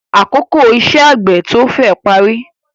Àkókò iṣẹ́ àgbẹ̀ tó féè parí.